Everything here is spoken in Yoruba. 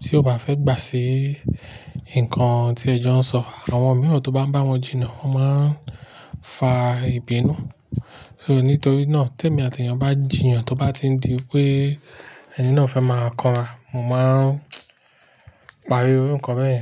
tí ó bá fẹ́ gbà sí nǹkan tí ẹ̀jọ̀ ń sọ, àwọn mìíràn tó bá ń bá wọn jiyàn, wọ́n máa ń fa ìbínú. Nítorí náà, tẹ́ mí àti èèyàn bá jiyàn tó bá ti di pé ẹni náà fẹ́ máa kọ́nra, mo máa parí iru nkan bẹ́ẹ̀ yẹn.